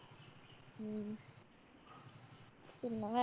പിന്നെ വേ